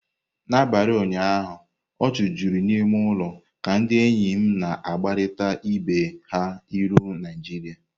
N'abalị ụnyaahụ, ọchị juru n'ime ụlọ ka ndị enyi m na-agbarịta ibe ha ilu Naijiria.